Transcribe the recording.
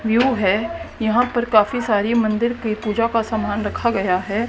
New है यहां पर काफी सारी मंदिर की पूजा का सामान रखा गया है।